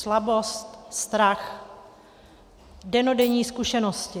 Slabost, strach, dennodenní zkušenosti.